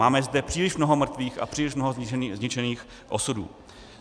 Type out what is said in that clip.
Máme zde příliš mnoho mrtvých a příliš mnoho zničených osudů.